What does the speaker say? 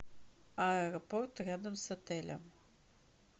аэропорт рядом с отелем